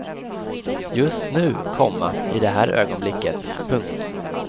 Just nu, komma i det här ögonblicket. punkt